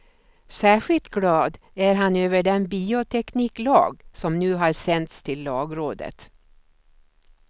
Särskilt glad är han över den biotekniklag som nu har sänts till lagrådet.